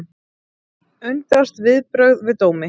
Undrast viðbrögð við dómi